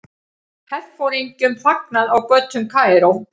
Herforingjum fagnað á götum Kaíró.